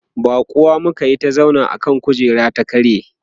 baƙuwa muka Yi ta zauna akan kujerar ya karye